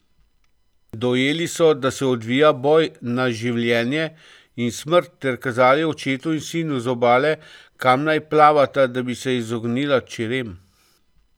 Dojeli so, da se odvija boj na življenje in smrt, ter kazali očetu in sinu z obale, kam naj plavata, da bi se izognila čerem.